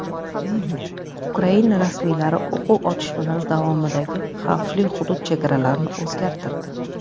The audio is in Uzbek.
Ukraina rasmiylari o‘quv otishmalari davomidagi xavfli hudud chegaralarini o‘zgartirdi.